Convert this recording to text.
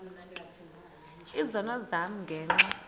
izono zam ngenxa